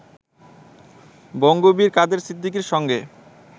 বঙ্গবীর কাদের সিদ্দিকীর সঙ্গে